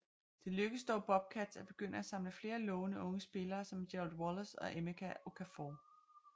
Det lykkedes dog Bobcats at begynde at samle flere lovende unge spillere som Gerald Wallace og Emeka Okafor